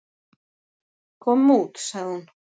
"""Komum út, sagði hún."""